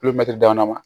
dama